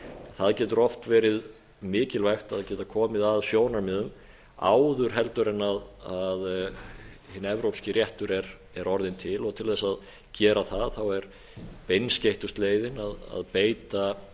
það getur oft verið mikilvægt að geta komið að sjónarmiðum áður heldur en hinn evrópski réttur er orðinn til til þess að gera það er beinskeyttast leiðin að beita